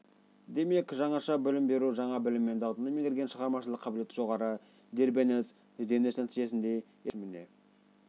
демек жаңаша білім беру жаңа білім мен дағдыны меңгерген шығармашылық қабілеті жоғары дербес ізденіс нәтижесінде елеулі мәселелердің шешіміне